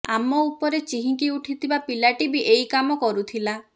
ଆମ ଉପରେ ଚିହିଁକି ଉଠିଥିବା ପିଲାଟି ବି ଏଇ କାମ କରୁଥିଲା